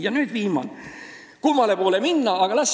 Ja nüüd viimane küsimus: kummale poole minna?